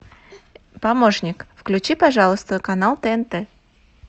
помощник включи пожалуйста канал тнт